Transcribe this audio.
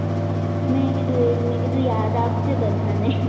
મેં કીધું યાદ આપજે બધાને મારે